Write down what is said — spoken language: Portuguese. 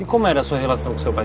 E como era a sua relação com seu pai?